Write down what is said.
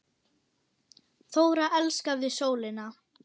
Þóra elskaði sólina.